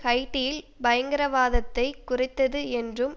ஹைட்டியில் பயங்கரவாதத்தை குறைத்தது என்றும்